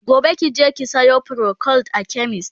gobe kije ki Sayo procold a chemist!